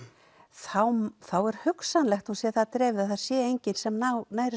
þá er hugsanlegt að hún sé það dreifð að það sé enginn sem nái